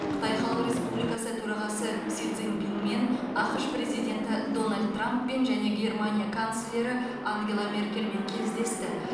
қытай халық республикасы төрағасы си цзиньпинмен ақш президенті дональд трамппен және германия канцлері ангела меркельмен кездесті